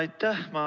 Aitäh!